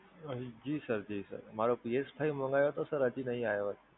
જી Sir, જી Sir, મારો PSFive મંગાવ્યો હતો Sir હજી નહીં આવ્યો.